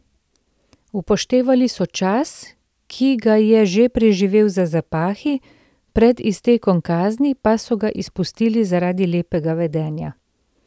Upoštevali so čas, ki ga je že preživel za zapahi, pred iztekom kazni pa so ga izpustili zaradi lepega vedenja.